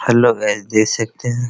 Hello guys देख सकते है।